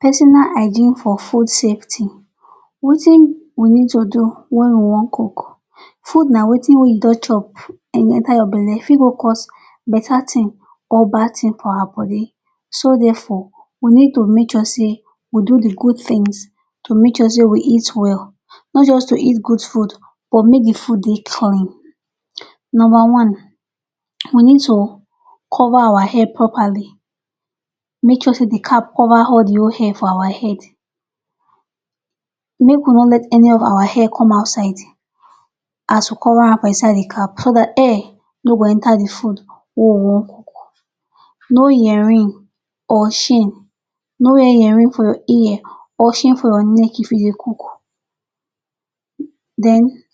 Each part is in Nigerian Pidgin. Personal hygiene for food safety Wetin we need to do wen we wan cook. Food na wetin wey you don chop and e enta your belle. E fit cause betta tin or bad tin for our body. So therefore, we need to make sure say we do di good tins to make sure say we eat well. No be just to eat good food but make di food dey clean. Number one, we need to cover our hair properly. Make sure say di cap cover all di whole hair for our head. Make we no let any of our hair come outside. As we cover am for inside di cap, so dat hair no go enta di food wey we wan cook. No earrings or chains. No wear earrings for ear or chains for neck if you dey cook. Den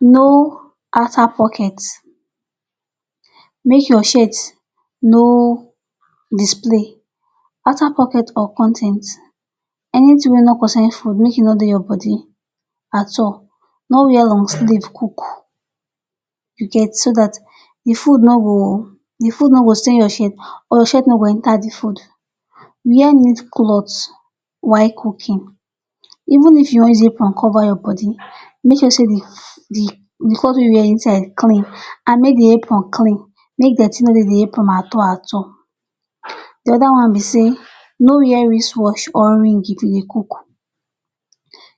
no outer pocket. Make your shirts no display outer pocket or con ten ts. Anytin wey no concern food make e no dey your body at all. No wear long sleeve cook, you get, so dat di food no go stain your shirt or shirt no go enta di food. Wear neat cloth while cooking. Even if you wan zip and cover your body, make sure say di cloth wey you wear inside clean. And make di hair apron clean. Make dirty no dey di apron at all at all. Di oda one be say no wear wristwatch or ring if you dey cook.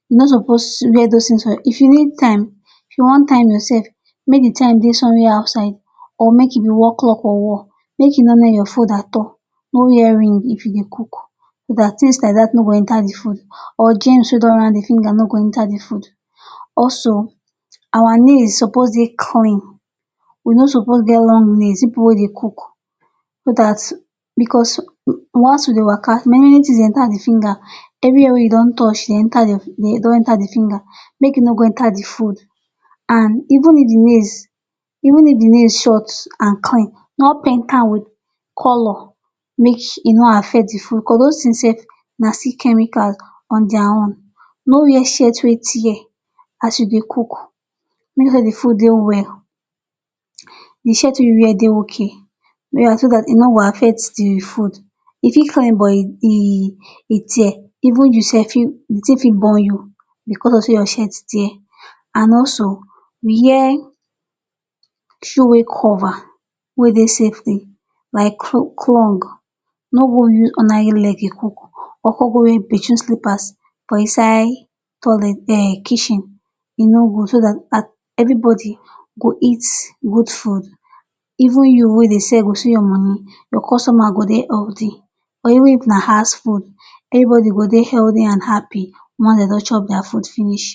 You no suppose wear dis tins. If you need time, if you wan time yoursef, make di time dey somewhere outside or make e be wall clock for wall. Make you no near your phone at all. No wear ring if you dey cook so dat tins like dat no go enta di food or gems wey dey around di finger no go enta di food. Also, our nails suppose dey clean. We no suppose get long nails, pipu wey dey cook. Bicos once we dey waka, many tins dey enta di finger. Evri wia wey you don touch dey enta di finger. Make e no go enta di food. And even if di nails short and clean, no paint am wit color. Make e no affect di food. Bicos dos tins sef na still chemicals on dia own. No wear shirt wey tear as you dey cook. If you dey cook, even if di food dey hot, di shirt wey you wear suppose dey okay. Wear am so dat e no go affect di food. E fit clean but e tear. Even you sef, di tin fit burn you bicos of say your shirt tear. And also wear shoe wey cover, wey dey safe, like crocs. No go use ordinary leg dey cook or come go use bafroom slippers for inside kitchen. E no good, so dat evribody go eat good food. Even you wey dey sell go see your money. Your customer go dey healthy. Even if na house food, evribody go dey healthy and happy once dem don chop dia food finish.